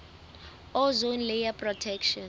ozone layer protection